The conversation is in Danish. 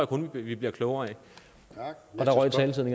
kun vi bliver klogere af og der røg taletiden